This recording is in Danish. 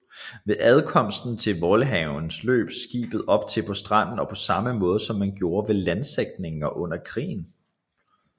Ved ankomsten i Waalhaven løb skibet op på stranden på samme måde som man gjorde ved landsætninger under krigen